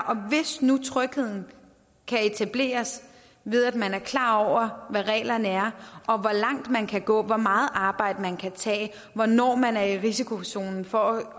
om og hvis nu trygheden kan etableres ved at man er klar over hvad reglerne er og hvor langt man kan gå altså hvor meget arbejde man kan tage og hvornår man er i risikozonen for at